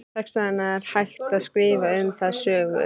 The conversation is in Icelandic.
Þess vegna er hægt að skrifa um það sögur.